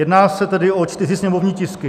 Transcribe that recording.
Jedná se tedy o čtyři sněmovní tisky.